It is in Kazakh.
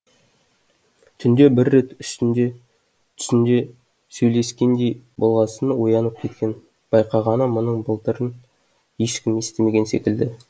түнде бір рет түсінде сөйлескендей болғасын оянып кеткен байқағаны мұның былдырын ешкім естімеген секілді